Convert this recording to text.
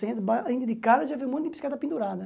Você entra entra de cara já vê um monte de bicicleta pendurada.